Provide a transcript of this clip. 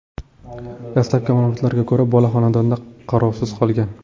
Dastlabki ma’lumotlarga ko‘ra, bola xonadonda qarovsiz qolgan.